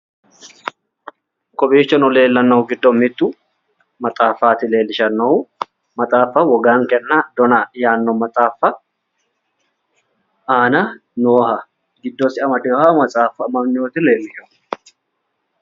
Kowiichono leellannohu giddo mittu maxaafaati leellishannohu maxaaffuno wogankenna dona yaanno aana nooha giddose amadewooha matsaafa amdinota leellisha.